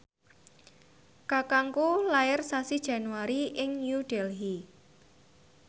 kakangku lair sasi Januari ing New Delhi